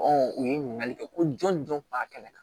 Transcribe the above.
u ye ɲininkali kɛ ko jɔn jɔn kun b'a kɛnɛ kan